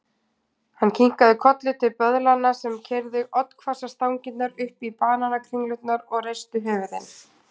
Hann kinkaði kolli til böðlanna sem keyrðu oddhvassar stangirnar upp í banakringlurnar og reistu höfuðin.